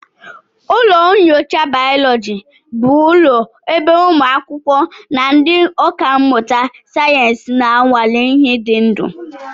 Ụlọ nyocha bayoloji bụ ụlọ ebe ụmụ akwụkwọ na ndị ọkà mmụta sayensị na-anwale ihe dị ndụ